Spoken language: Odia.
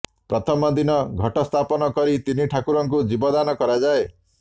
ପ୍ରଥମ ଦିନ ଘଟସ୍ଥାପନ କରି ତିନି ଠାକୁରଙ୍କୁ ଜୀବଦାନ କରାଯାଏ